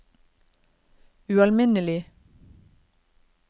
ualminnelig